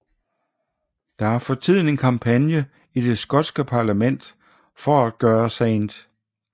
Der er for tiden en kampagne i det skotske parlament for at gøre St